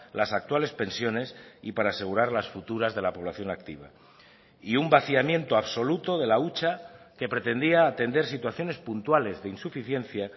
las actuales pensiones y para asegurar las futuras de la población activa y un vaciamiento absoluto de la hucha que pretendía atender situaciones puntuales de insuficiencia